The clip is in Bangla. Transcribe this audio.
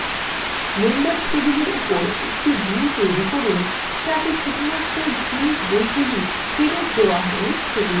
members টেবিলের উপর একটি view তৈরী করুন যাতে শুধুমাত্র যে বইগুলো ফেরত দেওয়া হইনি সেগুলি দেখা যাবে